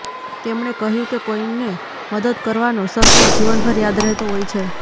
તેમણે કહ્યું કે કોઇને મદદ કરવાનો સંતોષ જીવનભર યાદ રહેતો હોય છે